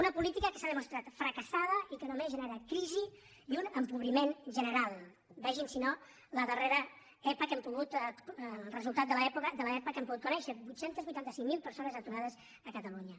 una política que s’ha demostrat fracassada i que només genera crisi i un empobriment general vegin si no la darrera epa el resultat de l’epa que hem pogut conèixer vuit cents i vuitanta cinc mil persones aturades a catalunya